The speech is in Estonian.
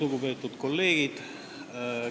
Lugupeetud kolleegid!